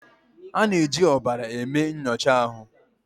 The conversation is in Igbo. A na-eji ọbara eme nyocha ahụ.